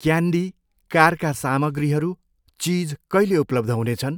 Candy, कारका सामग्रीहरू, चिज कहिले उपलब्ध हुनेछन्?